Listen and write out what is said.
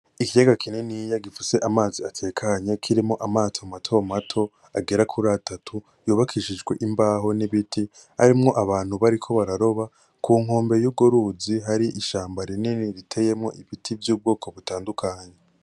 Ikayaga kininiya gifise amazi atekanye kirimwo amato mato mato agera kuratatu yubakishijwe imbaho n'ibiti .Harimwo abantu bariko bararoba. Ku nkombe yurwo ruzi, hariho ishamba riteye ibiti vy'ubwoko butandukanye.